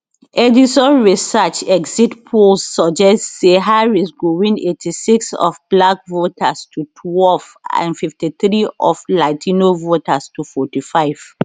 edison research exit polls suggest say harris go win eighty six of black voters to twelve and fifty three of latino voters to fourty five